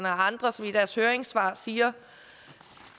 og andre som i deres høringssvar siger